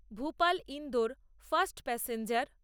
Bhopal Indore fast passenger